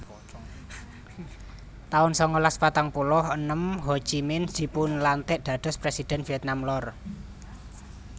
taun sangalas patang puluh enem Ho Chi Minh dipunlantik dados Presidhèn Vietnam Lor